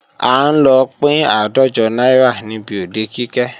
À ń lọ pín àádọ́jọ náírà níbi òde Kike